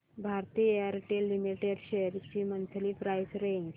Bharti Airtel limited shares ची monthly price range